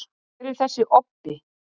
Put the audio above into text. hver er þessi „obbi“